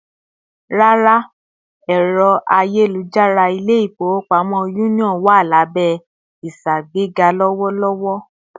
Rárá, ẹrọ ayelujara ilé-ifowopamọ Union wá lábé ìṣàgbega lowolowo